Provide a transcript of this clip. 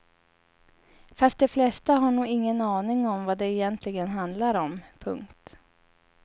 Fast de flesta har nog ingen aning om vad det egentligen handlar om. punkt